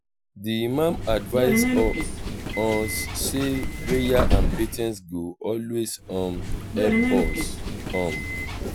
di imam advice um us say prayer and patience go always um help us. um